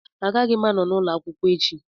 Agaghị m anọ n'ụlọ akwụkwọ echi